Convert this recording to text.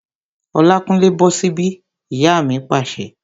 Olákúnlé, bọ́ sí bí! Ìyá mi pàṣẹ